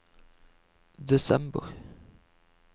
desember